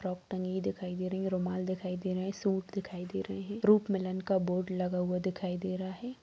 Frock टंगी हुई दिखाई दे रही है रुमाल दिखाई दे रहे सूट दिखाई दे रही है रूप मिलन का बोर्ड लगा हुआ दिखाई दे रहा है ।